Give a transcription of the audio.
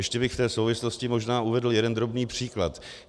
Ještě bych v té souvislosti možná uvedl jeden drobný příklad.